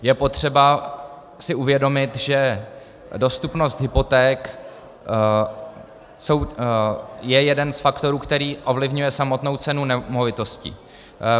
Je potřeba si uvědomit, že dostupnost hypoték je jeden z faktorů, který ovlivňuje samotnou cenu nemovitostí.